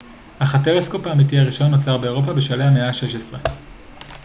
אך הטלסקופ האמיתי הראשון נוצר באירופה בשלהי המאה ה-16